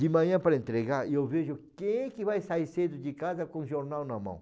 De manhã para entregar, eu vejo quem que vai sair cedo de casa com o jornal na mão.